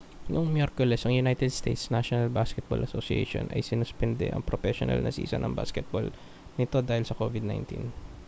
noong miyerkules ang united states' national basketball association nba ay sinuspende ang propesyonal na season ng basketball nito dahil sa covid-19